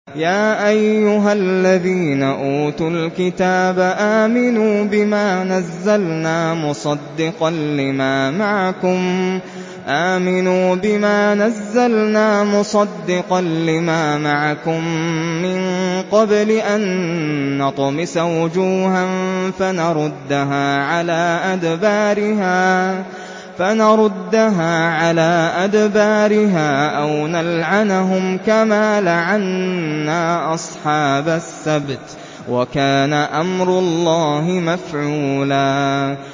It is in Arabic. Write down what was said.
يَا أَيُّهَا الَّذِينَ أُوتُوا الْكِتَابَ آمِنُوا بِمَا نَزَّلْنَا مُصَدِّقًا لِّمَا مَعَكُم مِّن قَبْلِ أَن نَّطْمِسَ وُجُوهًا فَنَرُدَّهَا عَلَىٰ أَدْبَارِهَا أَوْ نَلْعَنَهُمْ كَمَا لَعَنَّا أَصْحَابَ السَّبْتِ ۚ وَكَانَ أَمْرُ اللَّهِ مَفْعُولًا